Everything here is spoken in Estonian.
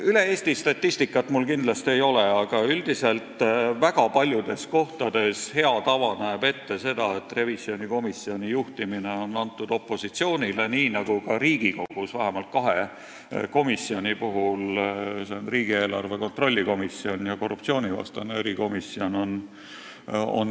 Kogu Eesti statistikat mul ei ole, aga väga paljudes kohtades näeb hea tava ette, et revisjonikomisjoni juhtimine on antud opositsioonile, nii nagu ka Riigikogus vähemalt kahe komisjoni juhtimine, need on riigieelarve kontrolli erikomisjon ja korruptsioonivastane erikomisjon.